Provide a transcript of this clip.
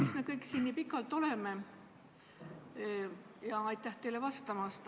Miks me kõik siin nii pikalt oleme?